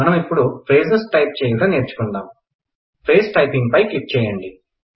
మనం ఇప్పుడు phrases type చేయుట నేర్చుకుందాం ఫ్రేజ్ టైపింగ్ పై క్లిక్ చేయండి